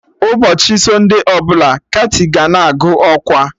Ụbọchị sọnde ọbụla, kati ga na-agụ ọkwa